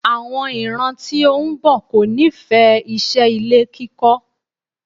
Àwọn ìran tí ó ń bọ̀ kò nífẹ̀ẹ́ iṣẹ́ ilé kíkọ́.